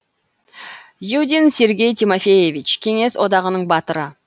юдин сергей тимофеевич кеңес одағының батыры